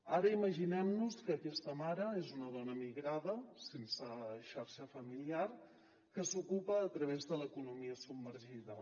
ara imaginem nos que aquesta mare és una dona migrada sense xarxa familiar que s’ocupa a través de l’economia submergida